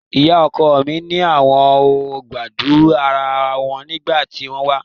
Ìyá ọkọ mi ni àwọn ò gbádùn ara wọn nígbà tí wọ́n wá